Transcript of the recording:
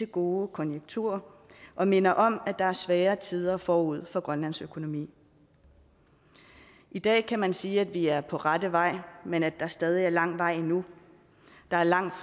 gode konjunkturer og minder om at der er svære tider forude for grønlands økonomi i dag kan man sige at vi er på rette vej men at der stadig er lang vej endnu der er langt